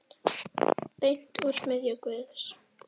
Beint úr smiðju Guðs.